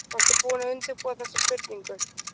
Varstu búinn að undirbúa þessa spurningu?